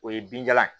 O ye binjalan